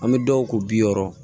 An bɛ dɔw ko bi wɔɔrɔ